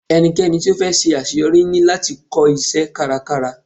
Ẹnikẹ́ni tí ó fẹ́ ṣe àṣeyọrí ní láti kọ́ iṣẹ́ kárakára.